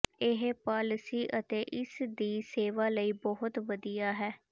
ਇਹ ਪਾਲਿਸੀ ਅਤੇ ਇਸ ਦੀ ਸੇਵਾ ਲਈ ਬਹੁਤ ਵਧੀਆ ਹੈ